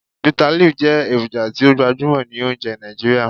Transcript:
Bitterleaf jẹ eroja ti o gbajumọ ni ounjẹ Naijiria.